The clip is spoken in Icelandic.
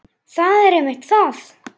Það er einmitt það.